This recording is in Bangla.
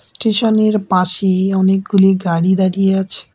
স্টেশনের পাশে অনেকগুলি গাড়ি দাঁড়িয়ে আছে।